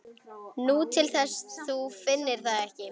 Nú, til þess að þú finnir það ekki.